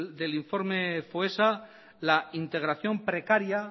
del informe foessa la integración precaria